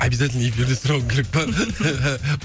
обязательно эфирде сұрауың керек пе